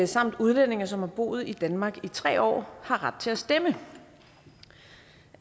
samt udlændinge som har boet i danmark i tre år har ret til at stemme